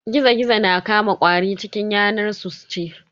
Gizo-Gizo na Kama ƙwari cikin yanar su su ci.